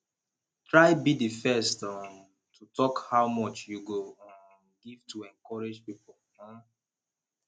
try be di first um to talk how much you go um give to encourage pipo um